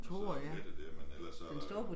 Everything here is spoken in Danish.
Og så der Mette dér men ellers så der